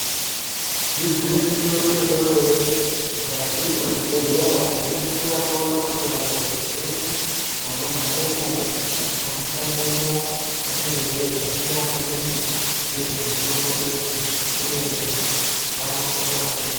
Igwinyiso remenemene, mukati mwechibhehlera tinoningira toona kuti vanhu vazhinji vanogaremwo ,vanoshandemwo vanenge veiziya maningi ngezve mitombo idzi, uye vanokona maningi.